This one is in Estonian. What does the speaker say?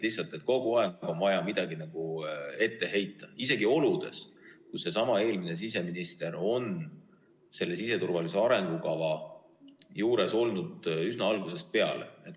Lihtsalt kogu aeg on vaja midagi ette heita, ja seda isegi oludes, kus eelmine siseminister oli selle siseturvalisuse arengukava koostamise juures üsna algusest peale.